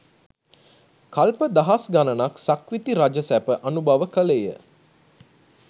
කල්ප දහස් ගණනක් සක්විති රජ සැප අනුභව කළේය.